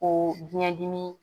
O biyɛn dimi